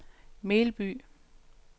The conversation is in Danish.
Melby